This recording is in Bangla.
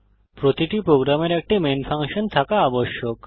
প্রতিটি প্রোগ্রামের একটি মেন ফাংশন থাকা আবশ্যক